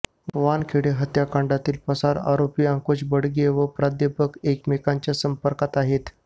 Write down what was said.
वानखेडे हत्याकांडातील पसार आरोपी अंकुश बडगे व प्राध्यापक एकमेकांच्या संपर्कात आहेत